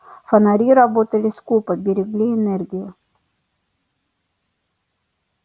фонари работали скупо берегли энергию